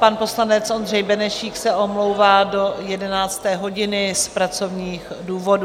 Pan poslanec Ondřej Benešík se omlouvá do 11. hodiny z pracovních důvodů.